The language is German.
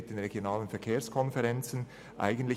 Diesen Weg sollte man wählen.